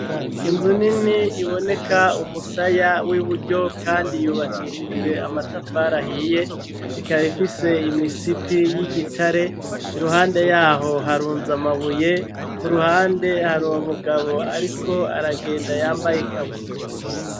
Inzu nini iboneka umusaya w'iburyo kandi yubakishijwe amatafarahiye ikaba ifise imisipi y'igitare iruhande yaho harunza amabuye ku ruhande hari uwo mugabo ariko aragenda yambaye ikabutura.